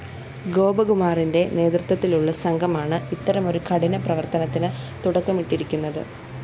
ഗോപകുമാറിന്റെ നേതൃത്വത്തിലുള്ള സംഘമാണ് ഇത്തരമൊരു കഠിന പ്രവര്‍ത്തനത്തിന് തുടക്കമിട്ടിരിക്കുന്നത്